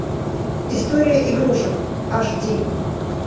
история игрушек аш ди